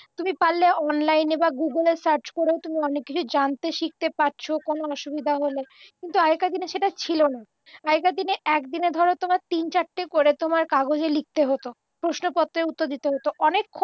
তুমি পারলে অনলাইনে বা গুগলে সার্চ করেও তুমি অনেক কিছু জানতে শিখতে পারছ কোনও অসুবিধা হলে কিন্তু আগেকারদিনে সেটা ছিলনা আগেকারদিনে একদিনে ধরো তোমার তিন চারটে করে তোমার কাগজে লিখতে হত প্রশ্নপত্রের উত্তর দিতে হত অনেকক